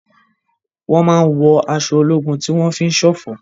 Wọ́n máa ń wọ aṣọ ológun tí wọ́n fi ń ṣọ̀fọ̀.